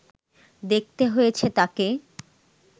দেখতে হয়েছে তাঁকে